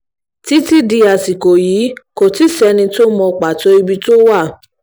títí di àsìkò yìí kò tí ì sẹ́ni tó mọ pàtó ibi tó wà